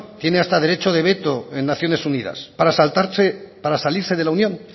tiene hasta derecho de veto en naciones unidas para salirse de la unión